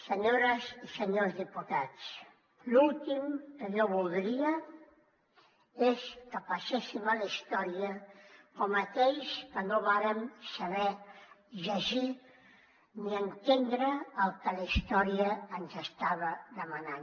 senyores i senyors diputats l’últim que jo voldria és que passéssim a la història com aquells que no vàrem saber llegir ni entendre el que la història ens estava demanant